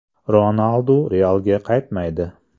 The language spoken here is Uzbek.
Ronaldu “Real”ga qaytmaydi.